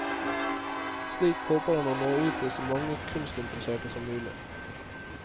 Slik håper han å nå ut til så mange kunstinteresserte som mulig.